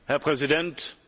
Herr Präsident!